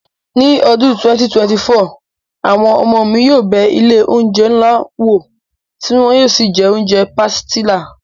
Ní ọdún 2024, àwọn ọmọ mi yóò bẹ ilé oúnjẹ ńlá wò tí wọn yóò sì jẹ oúnjẹ pàsìtílà